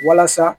Walasa